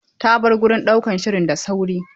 Ta bar wurin ɗaukan shiri da sauri.